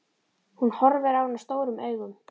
Hún horfir á hana stórum augum.